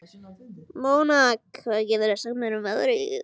Mona, hvað geturðu sagt mér um veðrið?